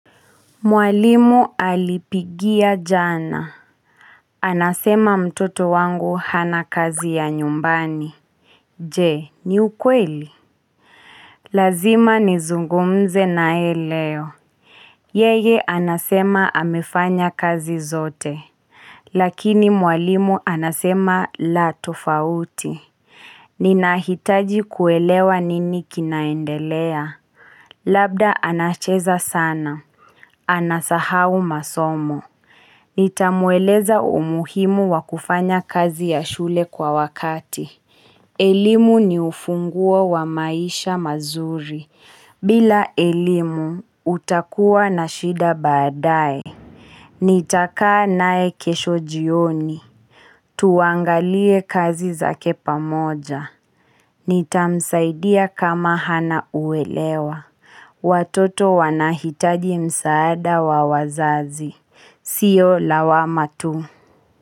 Mwalimu alipigia jana Anasema mtoto wangu hana kazi ya nyumbani Je ni ukweli Lazima nizungumze nae leo Yeye anasema amefanya kazi zote Lakini mwalimu anasema la tofauti Ninahitaji kuelewa nini kinaendelea Labda anacheza sana Anasahau masomo Nitamueleza umuhimu wakufanya kazi ya shule kwa wakati. Elimu ni ufunguo wa maisha mazuri. Bila elimu, utakuwa na shida badae. Nitaka nae kesho jioni. Tuangalie kazi zake pamoja. Nitamsaidia kama hana uelewa. Watoto wanahitaji msaada wa wazazi. Sio lawama tu.